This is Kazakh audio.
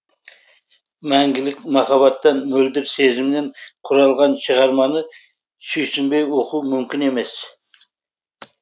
мәңгілік махаббаттан мөлдір сезімнен құралған шығарманы сүйсінбей оқу мүмкін емес